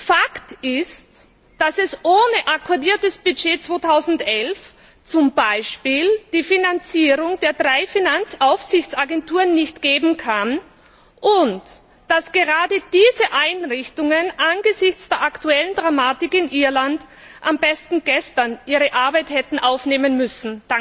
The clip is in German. Fakt ist, dass es ohne ein Budget 2011 zum Beispiel die Finanzierung der drei Finanzaufsichtsagenturen nicht geben kann und dass gerade diese Einrichtungen angesichts der aktuellen Dramatik in Irland am besten gestern ihre Arbeit hätten aufnehmen müssen.